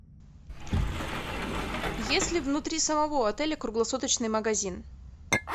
есть ли внутри самого отеля круглосуточный магазин